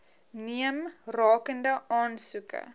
neem rakende aansoeke